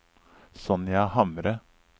Sonja Hamre